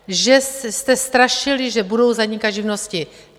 Že jste strašili, že budou zanikat živnosti.